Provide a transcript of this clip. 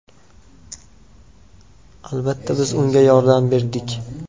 Albatta, biz unga yordam berdik.